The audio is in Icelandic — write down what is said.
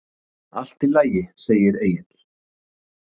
Allt í lagi, segir Egill.